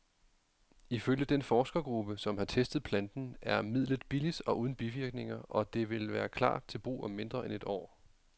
Ifølge den forskergruppe, som har testet planten, er midlet billigt og uden bivirkninger, og det vil klar til brug om mindre end et år.